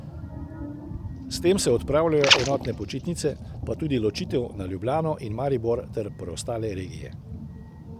S tem se odpravljajo enotne počitnice, pa tudi ločitev na Ljubljano in Maribor ter preostale regije.